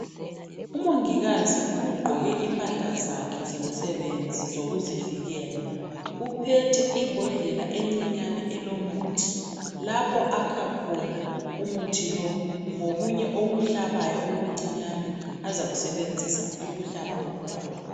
Umongikazi ugqoke impahla zakhe zomsebenzi zokuzivikela uphethe ibhodlela elincinyane elilomuthi lapho akha khona umuthi lo lokunye okuhlabayo okuncinyane azakusebenzisa ukuhlaba umntwana